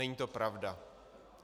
Není to pravda.